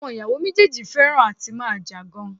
Àwọn ì̀yàwò méjì náà fẹhràn à ti máa jà gan-an.